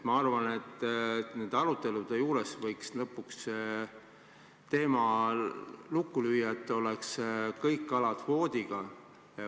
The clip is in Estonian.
Ma arvan, et nendel aruteludel võiks lõpuks teema lukku lüüa, nii et kõik kalad püütaks kvoodiga.